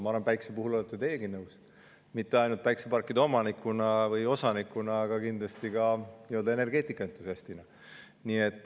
Ma arvan, et päikese puhul olete teiegi sellega nõus, mitte ainult päikeseparkide omaniku või osanikuna, vaid kindlasti ka energeetikaentusiastina.